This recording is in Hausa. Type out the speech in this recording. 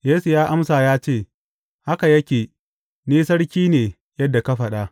Yesu ya amsa ya ce, Haka yake, ni sarki ne yadda ka faɗa.